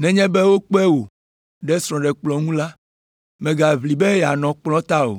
“Nenye be wokpe wò ɖe srɔ̃ɖekplɔ̃ ŋu la, mègaʋli be yeanɔ kplɔ̃ ta o,